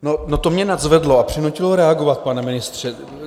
No to mě nadzvedlo a přinutilo reagovat, pane ministře.